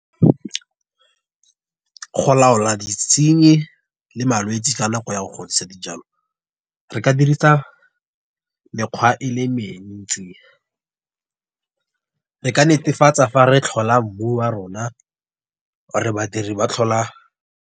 Go laola ditshinyi, le malwetsi ka nako ya go godisa dijalo. Re ka dirisa mekgwa e le mentsi . Re ka netefatsa fa re tlhola mmu wa rona or badiri ba tlhola.